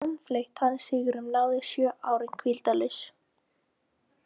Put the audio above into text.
Samfleytt hann sigrum náði sjö árin hvíldarlaust.